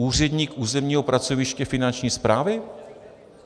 Úředník územního pracoviště Finanční správy?